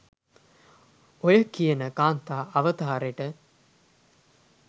ඔය කියන කාන්තා අවතාරෙට